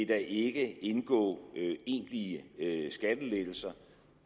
der ikke indgå egentlige skattelettelser